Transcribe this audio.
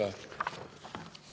Aitäh!